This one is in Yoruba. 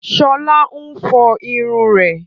Sọlá ń fọ irun rẹ̀